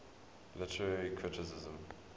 literary criticism